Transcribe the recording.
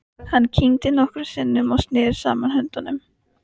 Hann kyngdi nokkrum sinnum og neri saman höndunum.